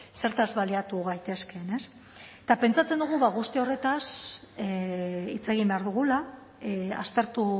zertaz baliatu gaitezkeen eta pentsatzen dugu guzti horretaz hitz egin behar dugula aztertu